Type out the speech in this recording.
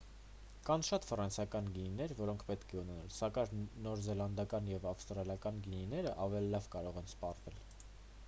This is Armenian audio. կան շատ ֆրանսիական գինիներ որոնք պետք է ունենալ սակայն նոր զելանդական և ավստրալիական գինիներն ավելի լավ կարող են սպառվել